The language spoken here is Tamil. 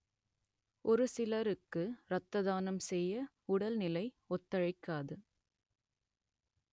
ஒரு சிலருக்கு ரத்த தானம் செய்ய உடல்நிலை ஒத்துழைக்காது